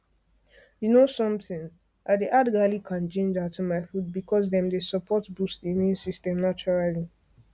you know something i dey add garlic and ginger to my food because dem dey support boost immune system naturally